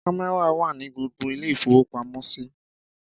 Kámẹ́rà wà ní gbogbo ilé-ìfowópamọ́sí.